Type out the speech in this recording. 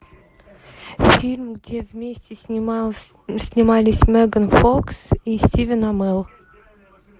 фильм где вместе снимались меган фокс и стивен амелл